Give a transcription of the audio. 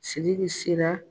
Sidiki sera